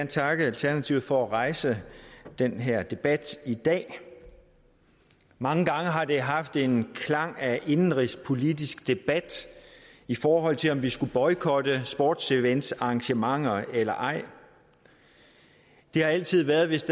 takke alternativet for at rejse den her debat i dag mange gange har det haft en klang af indenrigspolitisk debat i forhold til om vi skulle boykotte sportsevents og arrangementer eller ej det har altid været hvis